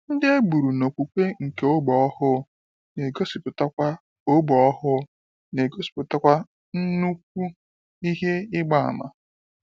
Ndị egburu n'okwukwe nke ọgbọ ọhụụ, n'egosipụtakwa ọgbọ ọhụụ, n'egosipụtakwa nnukwu ihe ịgba àmà.